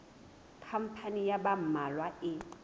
khampani ya ba mmalwa e